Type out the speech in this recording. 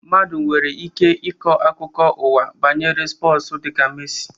Mmadụ nwere ike ikọ akụkọ ụwa banyere spọsu dịka Mesi